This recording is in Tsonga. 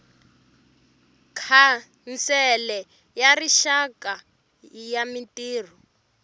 khansele ya rixaka ya mintirho